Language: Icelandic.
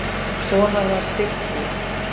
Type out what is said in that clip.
Svona var Siggi.